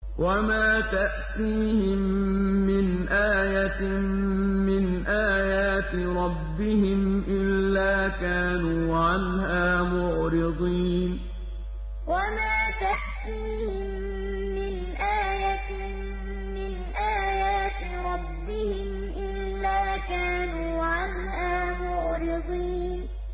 وَمَا تَأْتِيهِم مِّنْ آيَةٍ مِّنْ آيَاتِ رَبِّهِمْ إِلَّا كَانُوا عَنْهَا مُعْرِضِينَ وَمَا تَأْتِيهِم مِّنْ آيَةٍ مِّنْ آيَاتِ رَبِّهِمْ إِلَّا كَانُوا عَنْهَا مُعْرِضِينَ